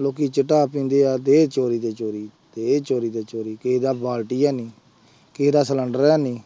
ਲੋਕੀ ਚਿੱਟਾ ਪੀਂਦੇ ਆ ਦੇਹ ਚੋਰੀ ਤੇ ਚੋਰੀ, ਦੇਹ ਚੋਰੀ ਤੇ ਚੋਰੀ, ਕਿਸੇ ਦਾ ਬਾਲਟੀ ਹੈਨੀ, ਕਿਸੇ ਦਾ ਸਿਲੈਂਡਰ ਹੈਨੀ